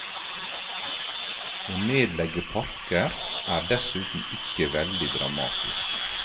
Å nedlegge parker er dessuten ikke veldig dramatisk.